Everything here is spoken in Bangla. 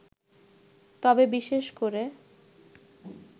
তবে বিশেষ করে